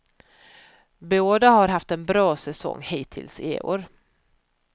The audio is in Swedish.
Båda har haft en bra säsong hittills i år.